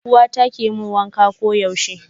Uwata ke mun wanka koyaushe.